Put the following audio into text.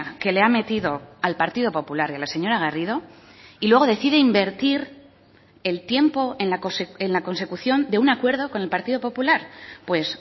que le ha metido al partido popular y a la señora garrido y luego decide invertir el tiempo en la consecución de un acuerdo con el partido popular pues